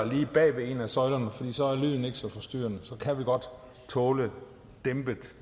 lige bag ved en af søjlerne for så er lyden ikke så forstyrrende så kan vi godt tåle dæmpet